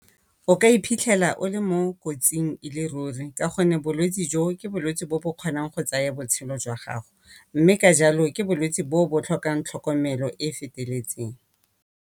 O ka iphitlhela o le mo kotsing e le ruri ka gonne bolwetsi jo ke bolwetsi bo bo kgonang go tsaya botshelo jwa gago mme ka jalo ke bolwetsi bo bo tlhokang tlhokomelo e e feteletseng.